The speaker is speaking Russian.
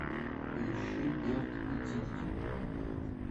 поищи берт и дикки